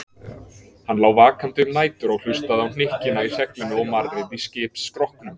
Hann lá vakandi um nætur og hlustaði á hnykkina í seglinu og marrið í skipsskrokknum.